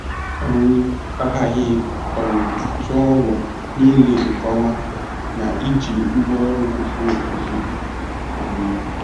um A ghaghị um tụọ ọgwụ niile nke ọma na iji ngwaọrụ kwesịrị ekwesị. um